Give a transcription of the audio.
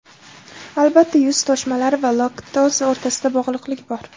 Albatta, yuz toshmalari va laktoza o‘rtasida bog‘liqlik bor.